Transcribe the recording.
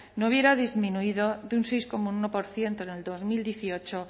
no hubiera disminuido de un seis coma uno por ciento en dos mil dieciocho